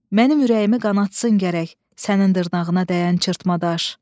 Mənim ürəyimi qanatsın gərək sənin dırnağına dəyən çırpatadaş.